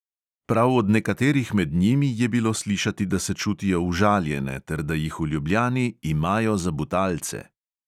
Prav od nekaterih med njimi je bilo slišati, da se čutijo užaljene ter da jih v ljubljani "imajo za butalce".